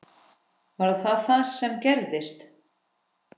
Var það það sem gerðist?